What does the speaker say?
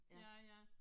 Ja ja